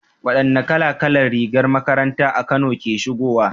Wadanne kala kala ne rigar makaranta a Kano ke shigowa?